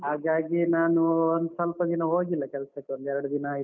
ಹಾಗಾಗಿ ನಾನು ಒಂದ್ ಸ್ವಲ್ಪ ದಿನ ಹೋಗಿಲ್ಲ ಕೆಲ್ಸಕ್ಕೆ ಒಂದ್ ಎರಡು ದಿನ ಆಯಿತು.